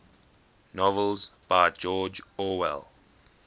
novels by george orwell